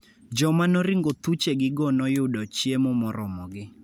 Joma noringo thuchegigo noyudo chiemo moromogi.